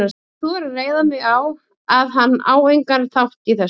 Ég þori að reiða mig á, að hann á engan þátt í þessu.